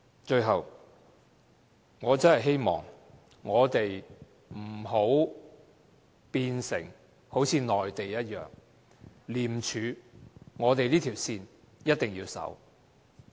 最後，我真的希望我們不要變成跟內地一樣，廉署這條線，我們一定要緊守。